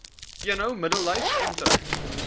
eno middellyf omtrek